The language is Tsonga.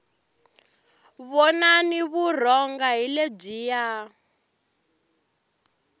vonani vurhonga hi lebyiya